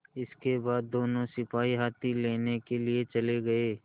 इसके बाद दोनों सिपाही हाथी लेने के लिए चले गए